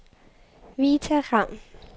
Vita Raun